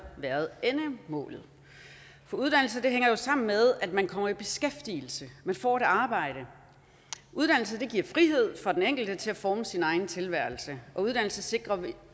været endemålet for uddannelse hænger jo sammen med at man kommer i beskæftigelse at man får et arbejde uddannelse giver frihed for den enkelte til at forme sin egen tilværelse og uddannelse sikrer at